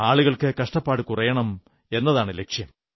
ആളുകൾക്ക് കഷ്ടപ്പാടു കുറയണം എന്നതാണു ലക്ഷ്യം